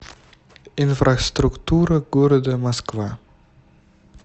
инфраструктура города москва